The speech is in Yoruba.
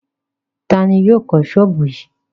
Ta ni yóò kọ́ ṣọ́ọ́bù yìí?